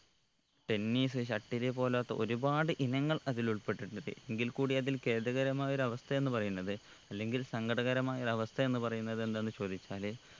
tennis shuttle പോലൊത്ത ഒരുപാട് ഇനങ്ങൾ അതിലുൾപ്പെട്ടിട്ടത് എങ്കിൽ കൂടി അതിൽ ഖേദകരമായ ഒരു അവസ്ഥ എന്ന് പറയുന്നത് അല്ലെങ്കിൽ സങ്കടകരമായ ഒരവസ്ഥ എന്ന് പറയുന്നത് എന്താന്ന് ചോദിച്ചാല്